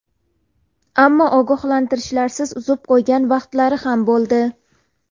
Ammo ogohlantirishlarsiz uzib qo‘ygan vaqtlari ham bo‘ldi.